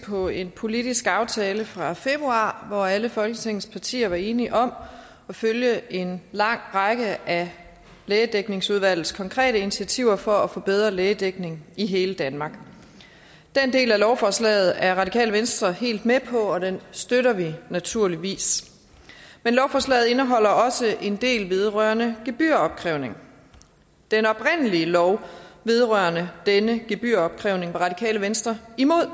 på en politisk aftale fra februar hvor alle folketingets partier var enige om at følge en lang række af lægedækningsudvalgets konkrete initiativer for at få bedre lægedækning i hele danmark den del af lovforslaget er radikale venstre helt med på og den støtter vi naturligvis men lovforslaget indeholder også en del vedrørende gebyropkrævning den oprindelige lov vedrørende denne gebyropkrævning var radikale venstre imod